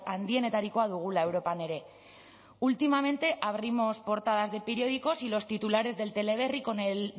handienetarikoa dugula europan ere últimamente abrimos portadas de periódicos y los titulares del teleberri con el